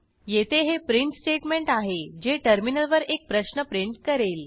येथे हे print statement आहे जे टर्मिनलवर एक प्रश्न प्रिंट करेल